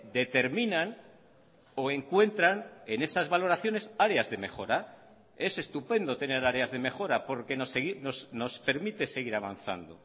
determinan o encuentran en esas valoraciones áreas de mejora es estupendo tener áreas de mejora porque nos permite seguir avanzando